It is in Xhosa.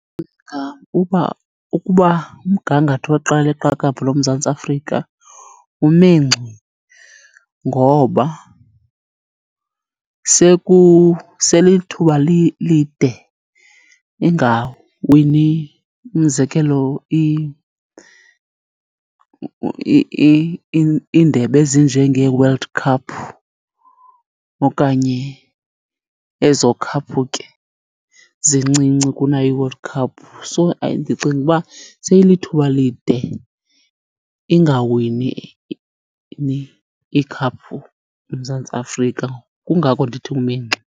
uba ukuba umgangatho weqela leqakamba loMzantsi Afrika ume ngxi ngoba sele ilithuba lide engawini. Umzekelo iindebe ezinjengeeWorld Cup okanye ezo khaphu ke zincinci kunayo iWorld Cup. So, ndicinga uba seyilithuba lide ingawini ikhaphu uMzantsi Afrika. Kungako ndithi ume ngxi.